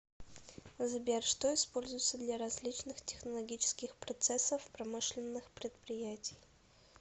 сбер что используется для различных технологических процессов промышленных предприятий